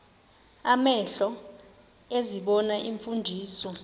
amehlo ezibona iimfundiso